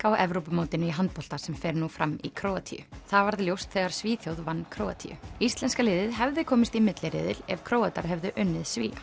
á Evrópumótinu í handbolta sem fer nú fram í Króatíu það varð ljóst þegar Svíþjóð vann Króatíu íslenska liðið hefði komist í milliriðil ef Króatar hefðu unnið Svía